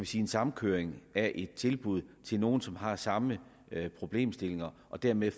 sige en samkøring af et tilbud til nogle som har samme problemstillinger og dermed